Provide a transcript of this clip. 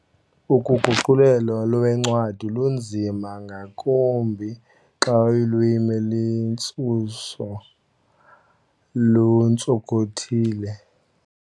Uguqulelo loncwadi lunzima ngakumbi xa ulwimi lwentsusa luntsonkothile.